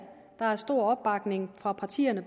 der bredt er stor opbakning fra partierne